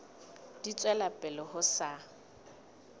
di tswela pele ho sa